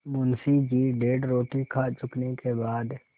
मुंशी जी डेढ़ रोटी खा चुकने के बाद